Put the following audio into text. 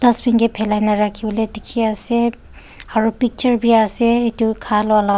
Dustbin kae phelaina rakhivole dekhey ase aro picture beya ase etu khwa loh lah--